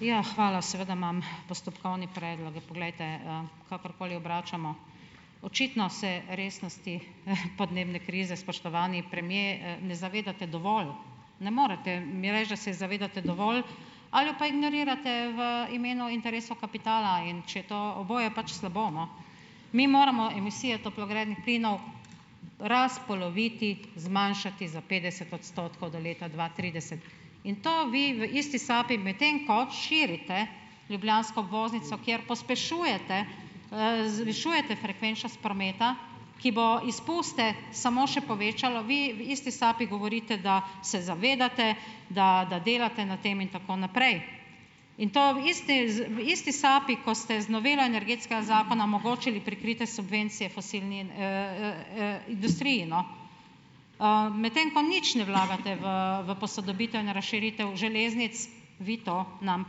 Ja, hvala. Seveda imam postopkovni predlog. Poglejte, kakorkoli obračamo, očitno se resnosti, podnebne krize, spoštovani premier, ne zavedate dovolj. Ne morete mi reči, da se je zavedate dovolj, ali jo pa ignorirate v imenu interesov kapitala. In če je to ... oboje je pač slabo, no. Mi moramo emisije toplogrednih plinov razpoloviti, zmanjšati za petdeset odstotkov do leta dva trideset. In to vi v isti sapi, medtem ko širite ljubljansko obvoznico, kjer pospešujete, zvišujete frekvenčnost prometa, ki bo izpuste samo še povečalo, vi v isti sapi govorite, da se zavedate, da da delate na tem in tako naprej. In to v isti v isti sapi, ko ste z novelo Energetskega zakona omogočili prikritje subvencije industriji, no. medtem ko nič ne vlagate v v posodobitev in razširitev železnic, vi to nam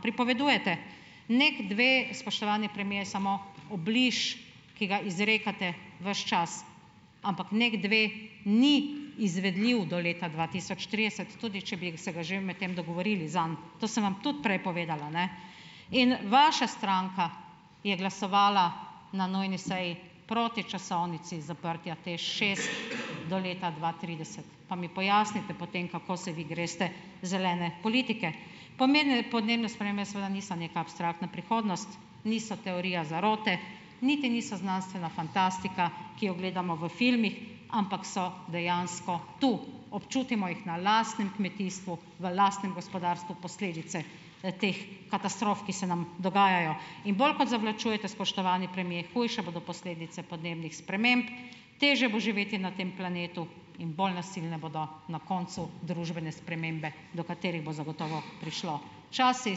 pripovedujete. Neki dve, spoštovani premier, je samo obliž, ki ga izrekate ves čas, ampak NEK dve ni izvedljiv do leta dva tisoč trideset, tudi če bi se ga že medtem dogovorili zanj. To sem vam tudi prej povedala, In vaša stranka je glasovala na nujni seji proti časovnici zaprtja TEŠ šest do leta dva trideset. Pa mi pojasnite potem, kako se vi greste zelene politike. podnebne spremembe seveda niso neka abstraktna prihodnost, niso teorija zarote, niti niso znanstvena fantastika, ki jo gledamo v filmih, ampak so dejansko tu, občutimo jih na lastnem kmetijstvu, v lastnem gospodarstvu posledice, teh katastrof, ki se nam dogajajo. In bolj kot zavlačujete, spoštovani premier, hujše bodo posledice podnebnih sprememb, težje bo živeti na tem planetu in bolj nasilne bodo na koncu družbene spremembe, do katerih bo zagotovo prišlo. Čas se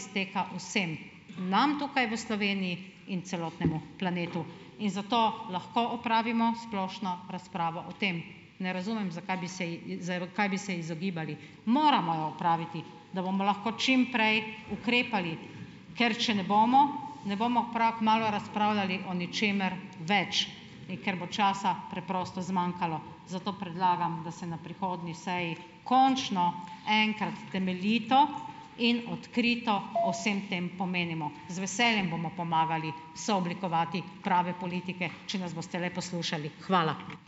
izteka vsem, nam tukaj v Sloveniji in celotnemu planetu. In zato lahko opravimo splošno razpravo o tem. Ne razumem, zakaj bi se ji kaj bi se izogibali. Moramo jo opraviti, da bomo lahko čim prej ukrepali, ker če ne bomo, ne bomo prav kmalu razpravljali o ničemer več, in ker bo časa preprosto zmanjkalo. Zato predlagam, da se na prihodnji seji končno enkrat temeljito in odkrito o vsem tem pomenimo. Z veseljem bomo pomagali sooblikovati prave politike, če nas boste le poslušali. Hvala.